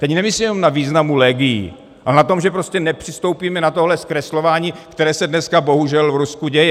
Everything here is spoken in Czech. Teď nemyslím jenom na významu legií, ale na tom, že prostě nepřistoupíme na tohle zkreslování, které se dneska bohužel v Rusku děje.